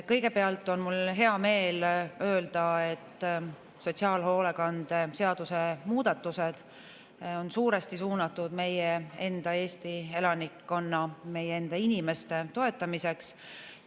Kõigepealt on mul hea meel öelda, et sotsiaalhoolekande seaduse muudatused on suuresti suunatud meie enda Eesti elanikkonna, meie enda inimeste toetamiseks.